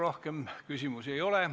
Rohkem küsimusi ei ole.